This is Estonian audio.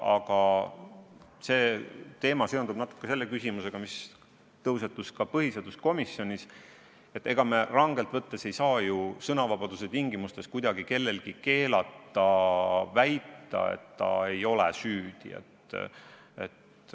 Aga see küsimus seondub natuke teemaga, mis tõusetus ka põhiseaduskomisjonis: ega me rangelt võttes ei saa ju sõnavabaduse tingimustes kuidagi kellelgi keelata väita, et ta ei ole süüdi.